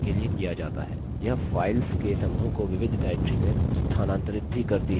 यह files के समूह को विविध directory में स्थानांतरित भी करती है